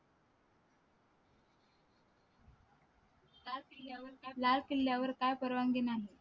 लाल किल्ल्या वर लाल किल्ल्या वर का परवानगी नाही